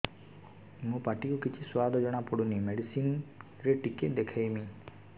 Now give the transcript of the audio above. ମୋ ପାଟି କୁ କିଛି ସୁଆଦ ଜଣାପଡ଼ୁନି ମେଡିସିନ ରେ ଟିକେ ଦେଖେଇମି